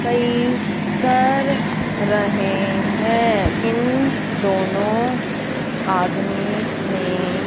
सही कर रहे हैं इन दोनों आदमी नें--